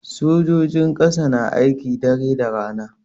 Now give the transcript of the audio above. Sojojin ƙasa na aiki dare da rana.